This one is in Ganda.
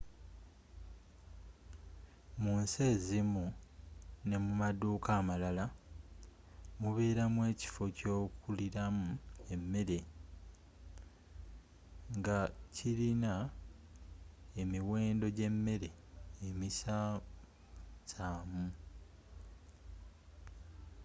mu nsi ezimu ne mu maduka amalala mubelamu ekifo kyokulilamu emere nga kilina emiwendo gyemele emisamu samu